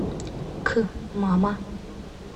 к мама